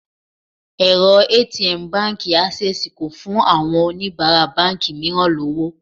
Èrọ ATM Báńkì Ásẹ́sìì kò fún àwọn oníbàárà báńkì mìíràn lọ́wọ́.